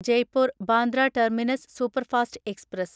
Jaipur Bandra terminus superfast express